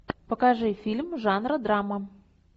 покажи фильм жанра драма